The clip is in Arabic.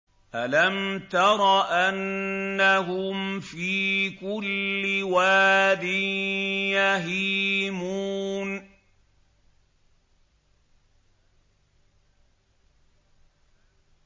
أَلَمْ تَرَ أَنَّهُمْ فِي كُلِّ وَادٍ يَهِيمُونَ